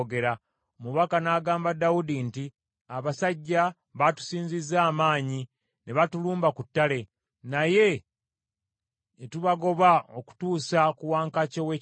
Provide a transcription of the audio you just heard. Omubaka n’agamba Dawudi nti, “Abasajja batusinzizza amaanyi ne batulumba ku ttale, naye ne tubagoba okutuusa ku wankaaki ow’ekibuga.